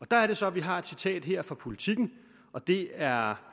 der er det så vi har et citat fra politiken og det er